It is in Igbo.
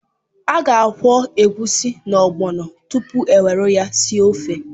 A ga-akwọ egusi na ogbọno tupu e were ha sie ofe.